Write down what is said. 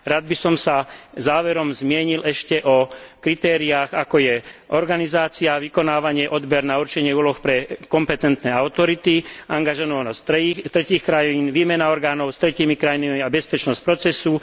Rád by som sa záverom zmienil ešte o kritériách, ako je organizácia a vykonávanie odberu, určenie úloh pre kompetentné autority, angažovanosť tretích krajín, výmena orgánov s tretími krajinami a bezpečnosť procesu.